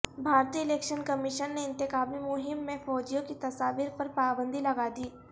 بھارتی election commission نے انتخابی مہم میں فوجیوں کی تصاویر پر پابندی لگادی